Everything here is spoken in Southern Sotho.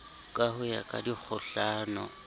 ka ho ya ka dikgohlano